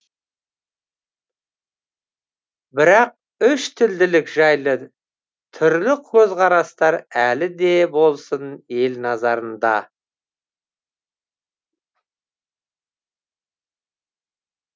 бірақ үштілділік жайлы түрлі көзқарастар әлі де болсын ел назарында